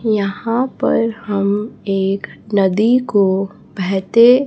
यहां पर हम एक नदी को बहते--